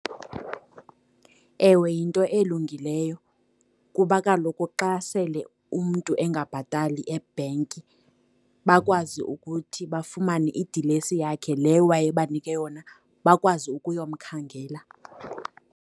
Ewe, yinto elungileyo kuba kaloku xa sele umntu engabhatali ebhenki, bakwazi ukuthi bafumane idilesi yakhe le wayebanike yona, bakwazi ukuyomkhangela.